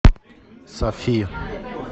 сафи